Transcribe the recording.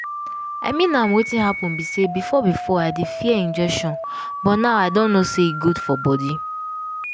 i mean am wetin happen be say before before i dey fear injection but now i don know say e good for body.